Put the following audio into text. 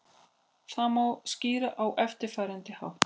Þetta má skýra á eftirfarandi hátt.